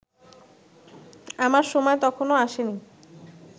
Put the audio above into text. আমার সময় তখনো আসেনি